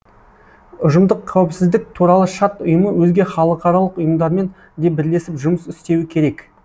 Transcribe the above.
ұжымдық қауіпсіздік туралы шарт ұйымы өзге халықаралық ұйымдармен де бірлесіп жұмыс істеуі керек